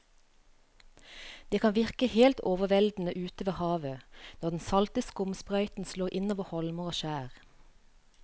Det kan virke helt overveldende ute ved havet når den salte skumsprøyten slår innover holmer og skjær.